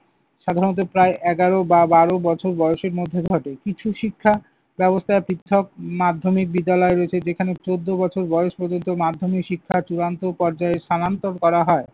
সাধারণত প্রায় এগারো বা বারো বছর বয়সের মধ্যে ঘটে। কিছু শিক্ষা ব্যবস্থা পৃথক মাধ্যমিক বিদ্যালয় রয়েছে। যেখানে চোদ্দ বছর বয়স পর্যন্ত মাধ্যমিক শিক্ষার চূড়ান্ত পর্যায়ে স্থানান্তর করা হয়।